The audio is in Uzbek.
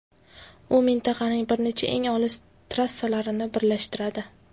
U mintaqaning bir nechta eng olis trassalarini birlashtiradi.